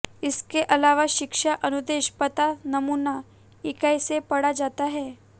इसके अलावा शिक्षा अनुदेश पता नमूना इकाई से पढ़ा जाता है